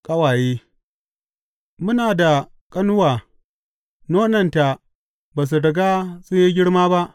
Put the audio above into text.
Ƙawaye Muna da ƙanuwa, nonanta ba su riga sun yi girma ba.